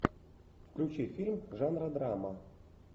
включи фильм жанра драма